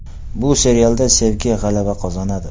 Bu serialda sevgi g‘alaba qozonadi.